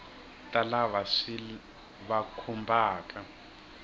ta lava swi va khumbhaka